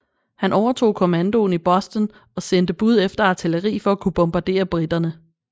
Han overtog kommandoen i Boston og sendte bud efter artilleri for at kunne bombardere briterne